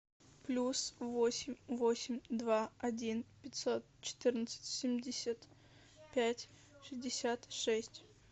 плюс восемь восемь два один пятьсот четырнадцать семьдесят пять шестьдесят шесть